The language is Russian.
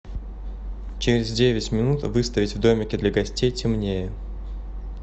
через девять минут выставить в домике для гостей темнее